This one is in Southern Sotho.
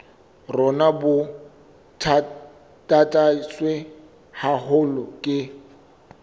rona bo tataiswe haholo ke